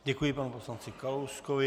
Děkuji panu poslanci Kalouskovi.